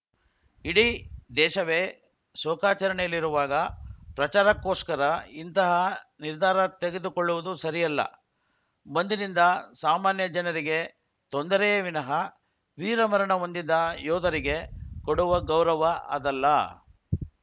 ಇಡೀ ದೇಶವೇ ಶೋಕಾಚರಣೆಯಲ್ಲಿರುವಾಗ ಪ್ರಚಾರಕ್ಕೋಸ್ಕರ ಇಂತಹ ನಿರ್ಧಾರ ತೆಗೆದುಕೊಳ್ಳುವುದು ಸರಿಯಲ್ಲ ಬಂದ್‌ನಿಂದ ಸಾಮಾನ್ಯ ಜನರಿಗೆ ತೊಂದರೆಯೇ ವಿನಃ ವೀರಮರಣ ಹೊಂದಿದ ಯೋಧರಿಗೆ ಕೊಡುವ ಗೌರವ ಅದಲ್ಲ